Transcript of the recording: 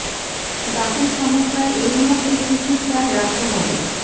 দাঁতের সমস্যায় এই মুহূর্তে কী কী খেয়াল রাখতে হবে